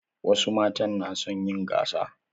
Wasu matan na son yin gasa.